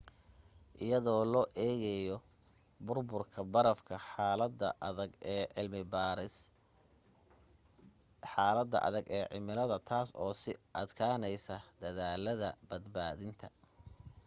iyadoo loo egayo burburka barafka xalada adage e cimilada taas oo sii adkaneysay dadaalada badbaadinta